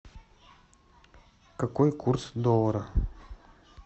какой курс доллара